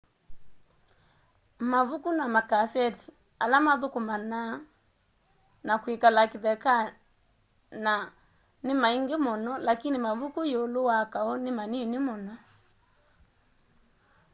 mavuku na makaseti ala mathukumana na kwikala kithekana ni maingi muno lakini mavuku yiulu wa kau ni manini muno